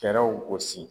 Fɛɛrɛw gosi